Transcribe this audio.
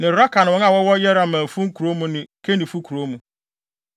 ne Rakal ne wɔn a wɔwɔ Yerahmeelfo nkurow mu ne Kenifo kurow mu,